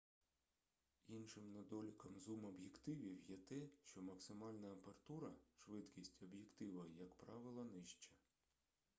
іншим недоліком зум-об'єктивів є те що максимальна апертура швидкість об'єктива як правило нижча